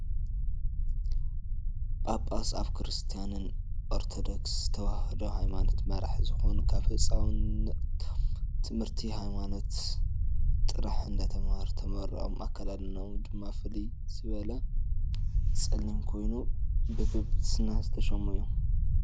ጳጳስ ኣብ ክርስትያን ኦርቶዶክስ ተዋህዶ ሃይማኖት መራሒ ዝኮኑ ካብ ህፃውንቶም ትምህርቲ ሃይማኖት ጥራሕ እንዳተማሃሩ ተመሪቆም ኣካዳድነኦም ድማ ፍልይ ዝበለ ፀሊም ኮይኑ ብብጳጳስና ዝተሸሙ እዮም።